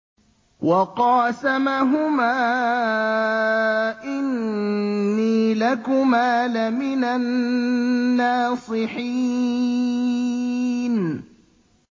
وَقَاسَمَهُمَا إِنِّي لَكُمَا لَمِنَ النَّاصِحِينَ